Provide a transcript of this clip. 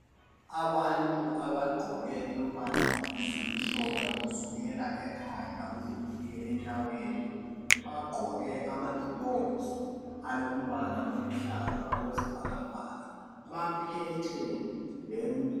Abantu abagqoke ezimhlophe kusukela ekhanda kusiyafika enyaweni bagqoke ama gloves alombala oluhlaza okwesibhakabhaka .Baphethe lemithi.